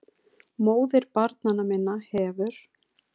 MÓÐIR BARNANNA MINNA HEFUR